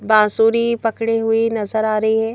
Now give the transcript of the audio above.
बांसुरी पकड़ी हुई नजर आ रही है।